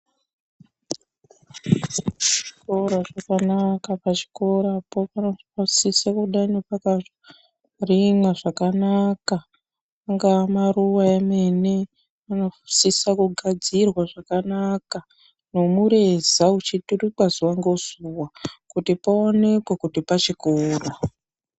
Chikora chakanaka. Pachikorapo, panosisa kudeno pakarimwa zvakanaka. Angaa maruwa emene, anosisa kugadzirwa zvakanaka, nemureza uchiturikwa zuwa ngezuwa kuti paonekwe kuti pachikora.